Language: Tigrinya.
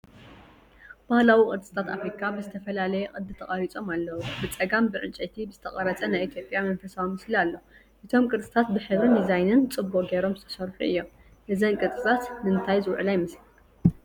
ባህላዊ ቅርፅታት ኣፍሪካ ብዝተፈላለየ ቅዲ ተቐሪጾም ኣለዉ። ብጸጋም ብዕንጨይቲ ዝተቐርጸ ናይ ኢትዮጵያ መንፈሳዊ ምስሊ ኣሎ። እቶም ቅርፅታት ብሕብርን ዲዛይንን ጽቡቕ ጌሮም ዝተሰርሑ እዮም። እዘን ቅርፅታት ንእንታይ ዝውዕላ ይመስለካ?